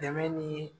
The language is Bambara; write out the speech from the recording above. Dɛmɛ ni